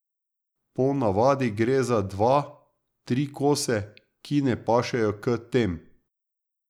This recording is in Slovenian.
Po navadi gre za dva, tri kose, ki ne pašejo k tem.